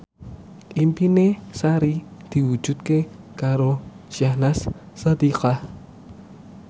impine Sari diwujudke karo Syahnaz Sadiqah